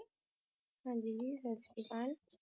ਹੋਰ ਕੇ ਹਾਲ ਚਾਲ ਤੁਹਾਡਾ